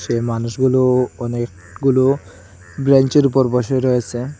সে মানুষগুলো অনেকগুলো ব্রেঞ্চের উপর বসে রয়েসে।